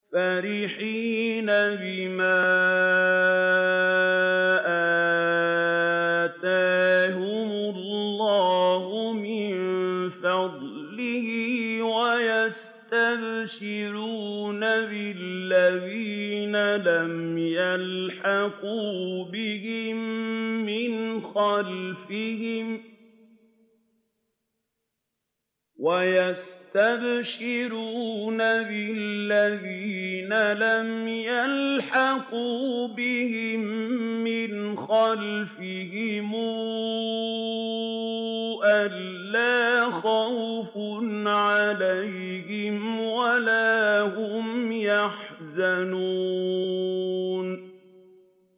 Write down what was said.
فَرِحِينَ بِمَا آتَاهُمُ اللَّهُ مِن فَضْلِهِ وَيَسْتَبْشِرُونَ بِالَّذِينَ لَمْ يَلْحَقُوا بِهِم مِّنْ خَلْفِهِمْ أَلَّا خَوْفٌ عَلَيْهِمْ وَلَا هُمْ يَحْزَنُونَ